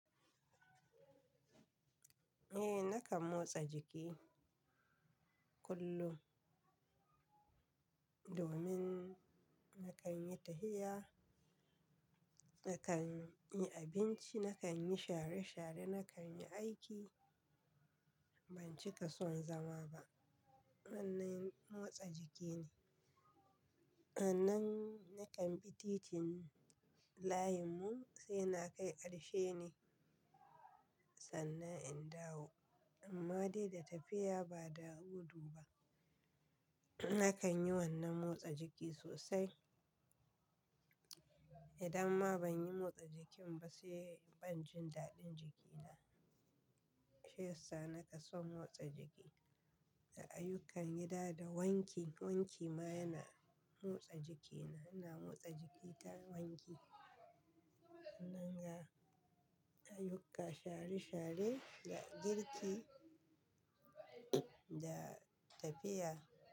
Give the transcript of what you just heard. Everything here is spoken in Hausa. Eh, nakan motsa jiki kullum domin nakan yi tafiya, nakan yi abinci, nakan yi share-share, nakan yi aiki. Ban cika son zama ba. Hannun motsa jiki ne. Sannan nakan bi titin layinmu sai na kai ƙarshe ne sannan in dawo. Amma dai da tafiya ba da gudu ba. Nakan yi wannan motsa jiki sosai. Idan ma ban yi motsa jikin ba sai ban jin daɗin jikina. Shiyasa na ke son motsa jiki. Da ayyukan gida da wanki, wanki ma yana motsa jiki na. Ina motsa jiki ta wanki. Sannan ga, ayyuka share-share, da girki, ga tafiya.